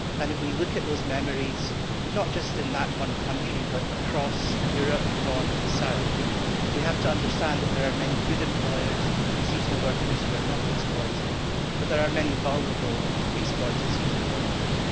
If we look at those memories not just in that one country but across Europe, north and south we have to understand that there are many good employers of seasonal workers who are not exploited, but there are many vulnerable exploited seasonal workers.